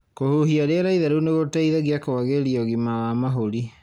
Kũhuhia rĩera itheru nĩ gũteithagia kũagĩria ũgima wa mahũri.